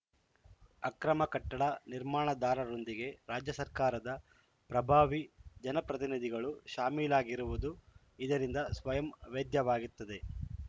ಅಕ್ರಮ ಕಟ್ಟಡ ನಿರ್ಮಾಣದಾರರೊಂದಿಗೆ ರಾಜ್ಯ ಸರ್ಕಾರದ ಪ್ರಭಾವಿ ಜನಪ್ರತಿನಿಧಿಗಳು ಶಾಮೀಲಾಗಿರುವುದು ಇದರಿಂದ ಸ್ವಯಂ ವೇದ್ಯವಾಗುತ್ತಿದೆ